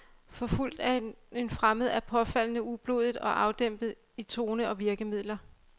Forfulgt af en fremmed er påfaldende ublodig og afdæmpet i tone og virkemidler.